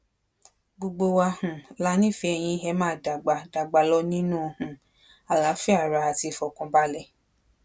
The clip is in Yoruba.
gbogbo wa um la nífẹẹ yìn ẹ máa dàgbà dàgbà lọ nínú um àlàáfíà ara àti ìfọkànbalẹ